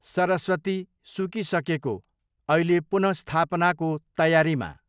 सरस्वती, सुकिसकेको, अहिले पुनःस्थापनाको तयारीमा